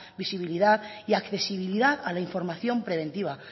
visibilidad y accesibilidad a la información preventiva